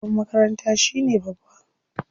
Shugaban makaranta shine babba.